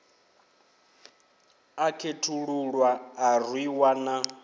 a khethululwa a rwiwa na